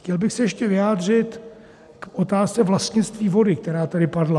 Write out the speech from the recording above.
Chtěl bych se ještě vyjádřit k otázce vlastnictví vody, která tady padla.